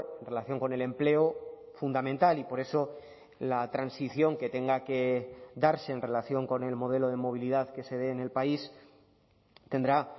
en relación con el empleo fundamental y por eso la transición que tenga que darse en relación con el modelo de movilidad que se dé en el país tendrá